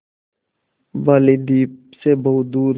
बालीद्वीप सें बहुत दूर